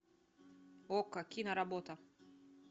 окко киноработа